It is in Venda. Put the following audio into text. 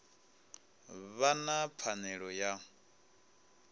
vha vha na pfanelo ya